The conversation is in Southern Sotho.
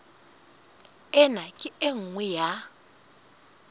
ena ke e nngwe ya